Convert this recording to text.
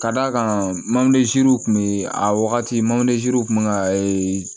Ka d'a kan mɔdenziniw tun bɛ a wagati misaw tun bɛ ka